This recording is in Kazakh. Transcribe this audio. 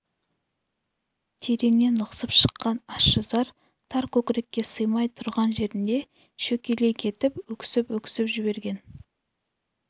тереңнен лықсып шыққан ащы зар тар көкірекке сыймай тұрған жерінде шөкелей кетіп өксіп-өксіп жіберген